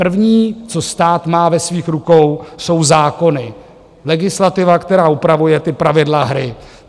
První, co stát má ve svých rukou, jsou zákony, legislativa, která upravuje ta pravidla hry.